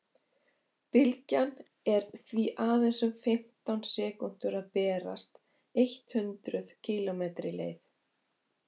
bylgjan er því aðeins um fimmtán sekúndur að berast eitt hundruð kílómetri leið